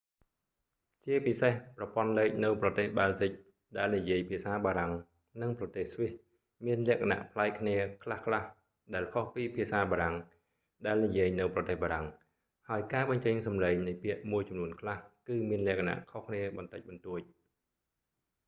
ជាពិសេស ប្រព័ន្ធលេខនៅប្រទេស បែលហ្ស៊ិក ដែលនិយាយភាសាបារាំង និងប្រទេស ស្វីសមានលក្ខណៈប្លែកគ្នាខ្លះៗ ដែលខុសពីភាសាបារាំង ដែលនិយាយនៅប្រទេសបារាំង ហើយការបញ្ចេញសំឡេងនៃពាក្យមួយចំនួនខ្លះ គឺមានលក្ខណៈខុសគ្នាបន្តិចបន្តួច